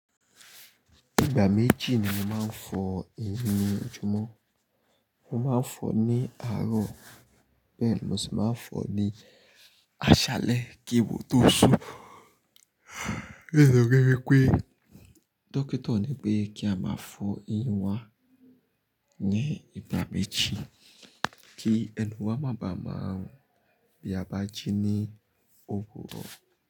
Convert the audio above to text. Ìgbà méjì ni mo máa ń fọ ẹnu lo ju mọ́. Mo máa ń fọ ní àárọ̀ bẹ́ẹ̀ ni mo sì máa ń fọ ní àṣálẹ́ kí èèwọ̀ tó sú. To fi jí wi pé dókítà ní pé kí a máa fọ ẹnu wa ní ìgbà méjì kí ẹnu wa má bàa máa run bí a bá ti ní òwúrọ̀